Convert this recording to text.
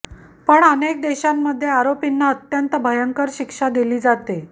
पण अनेक देशांमध्ये आरोपींना अत्यंत भयंकर शिक्षा दिली जाते